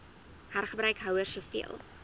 hergebruik houers soveel